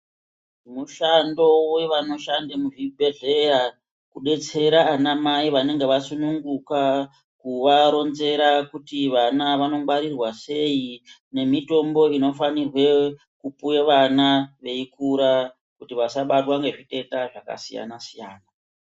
Mushando wevanoshanda muzvibhedhleya kudetsera ana mai vanenge vasununguka kuvaronzera kuti vana vanongwarirwa sei nemitombo inofanirwe kupuwe vana veikura kuti vasabatwa ngezviteta zvakasiyana siyana.